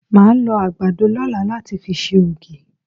Màá lọ àgbàdo lọ́la láti fi ṣe ògì.